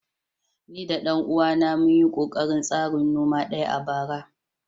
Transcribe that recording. Ni da ɗan uwana mun yi ƙoƙarin tasrin noma ɗaya a bara